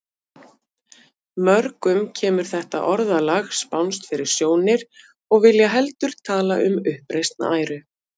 Mörgum kemur þetta orðalag spánskt fyrir sjónir og vilja heldur tala um uppreisn æru.